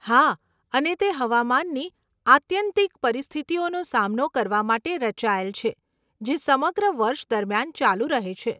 હા, અને તે હવામાનની આત્યંતિક પરિસ્થિતિઓનો સામનો કરવા માટે રચાયેલ છે, જે સમગ્ર વર્ષ દરમિયાન ચાલુ રહે છે.